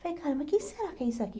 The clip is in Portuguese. Falei, caramba, quem será que é isso aqui?